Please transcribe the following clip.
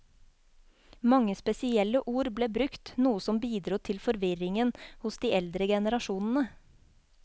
Mange spesielle ord ble brukt, noe som bidro til forvirringen hos de eldre generasjonene.